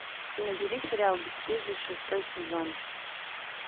набери сериал бесстыжие шестой сезон